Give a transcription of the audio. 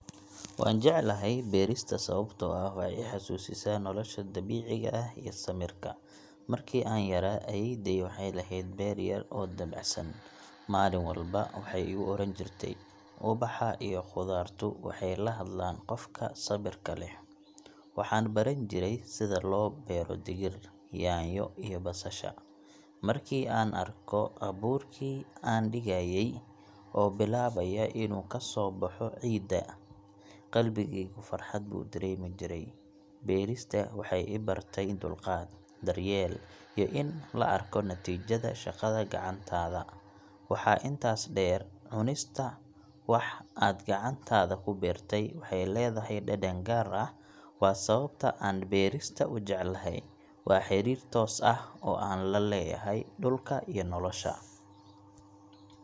Waan jeclahay beerista sababtoo ah waxay i xasuusisaa nolosha dabiiciga ah iyo samirka. Markii aan yaraa, ayeeyday waxay lahayd beer yar oo dabacsan. Maalin walba waxay igu oran jirtay, 'Ubaxa iyo khudaartu waxay la hadlaan qofka sabirka leh.' Waxaan baran jiray sida loo beero digir, yaanyo, iyo basasha. Markii aan arko abuurkii aan dhigayay oo bilaabaya inuu ka soo baxo ciidda, qalbigaygu farxad buu dareemi jiray. Beerista waxay i bartay dulqaad, daryeel, iyo in la arko natiijada shaqada gacantaada. Waxa intaas dheer, cunista wax aad gacantaada ku beertay waxay leedahay dhadhan gaar ah. Waa sababta aan beerista u jecelahay – waa xiriir toos ah oo aan la leeyahay dhulka iyo nolosha.